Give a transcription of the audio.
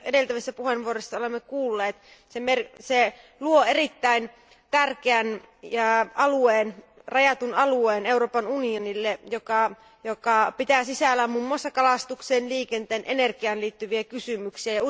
Niin kuin edeltävissä puheenvuoroissa olemme kuulleet, se luo erittäin tärkeän rajatun alueen Euroopan unionille, joka pitää sisällään muun muassa kalastukseen, liikenteeseen, energiaan liittyviä kysymyksiä.